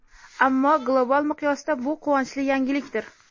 ammo global miqyosda bu quvonchli yangilikdir.